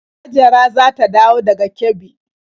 Hajara za ta dawo daga Kebbi.